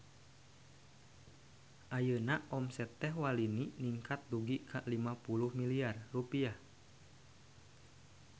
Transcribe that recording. Ayeuna omset Teh Walini ningkat dugi ka 50 miliar rupiah